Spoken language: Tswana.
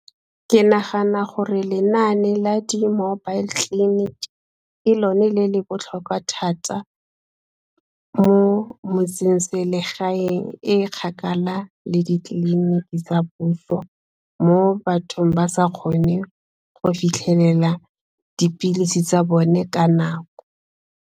Ke nagana gore lenaane la the mobile clinic ke lone le le botlhokwa thata mo motse-selegaeng e kgakala le ditleliniki tsa puso mo bathong ba sa kgone go fitlhelela dipilisi tsa bone ka nako.